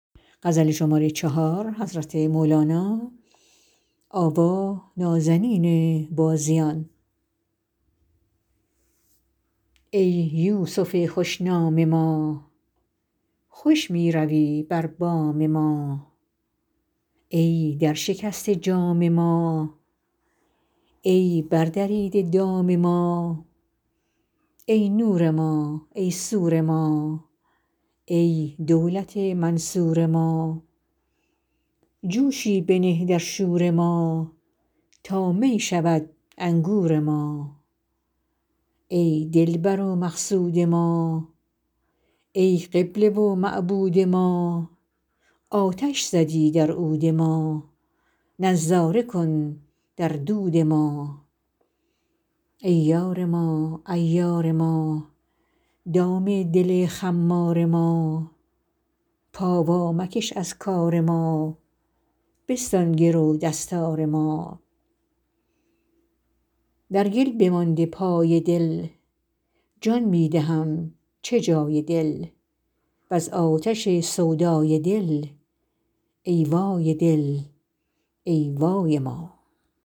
ای یوسف خوش نام ما خوش می روی بر بام ما ای درشکسته جام ما ای بردریده دام ما ای نور ما ای سور ما ای دولت منصور ما جوشی بنه در شور ما تا می شود انگور ما ای دلبر و مقصود ما ای قبله و معبود ما آتش زدی در عود ما نظاره کن در دود ما ای یار ما عیار ما دام دل خمار ما پا وامکش از کار ما بستان گرو دستار ما در گل بمانده پای دل جان می دهم چه جای دل وز آتش سودای دل ای وای دل ای وای ما